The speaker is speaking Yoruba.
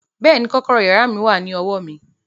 Bẹ́ẹ̀ni, kọ́kọ́rọ́ yàrá mi wà ní ọwọ́ mi